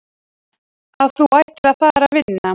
Að þú ætlir að fara að vinna!